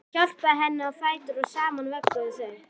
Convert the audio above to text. Hann hjálpaði henni á fætur og saman vögguðu þau